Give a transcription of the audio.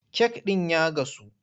Kek ɗin ya gasu,